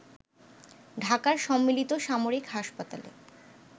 ঢাকার সম্মিলিত সামরিক হাসপাতালে